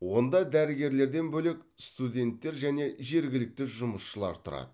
онда дәрігерлерден бөлек студенттер және жергілікті жұмысшылар тұрады